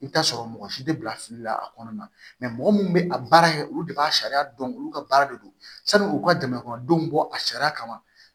I bɛ t'a sɔrɔ mɔgɔ si tɛ bila fili la a kɔnɔna na mɔgɔ minnu bɛ a baara kɛ olu de b'a sariya dɔn olu ka baara de don sanni u ka jama kɔnɔndɔw bɔ a sariya kama